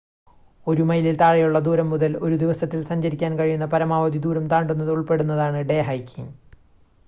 ഒരു മൈലിൽ താഴെയുള്ള ദൂരം മുതൽ ഒരു ദിവസത്തിൽ സഞ്ചരിക്കാൻ കഴിയുന്ന പരമാവധി ദൂരം താണ്ടുന്നത് ഉൾപ്പെടുന്നതാണ് ഡേ ഹൈക്കിങ്